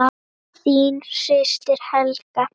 Þín systir, Helga.